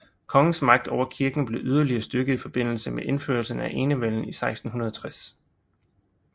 Kongens magt over kirken blev yderligere styrket i forbindelse med indførelsen af enevælden i 1660